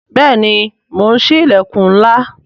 Bẹẹni, mo ń sí ilẹkun ńlá